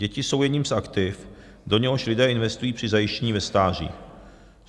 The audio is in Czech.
Děti jsou jedním z aktiv, do něhož lidé investují při zajištění ve stáří.